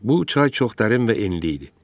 Bu çay çox dərin və enli idi.